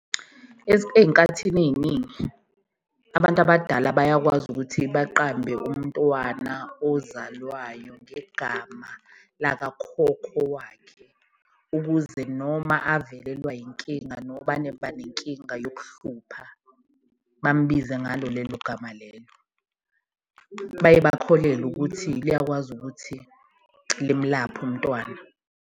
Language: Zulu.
Eyinkathini eyiningi abantu abadala bayakwazi ukuthi baqambe umntwana ozalwayo ngegama lakakhokho wakhe, ukuze noma avelelwa inkinga, noma abanenkinga yokuhlupha bambize ngalo lelo gama lelo, baye bakholelwe ukuthi liyakwazi ukuthi limlaphe umntwana.